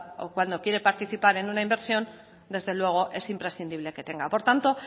o cuando quiere participar en una inversión desde luego es imprescindible que tenga por tanto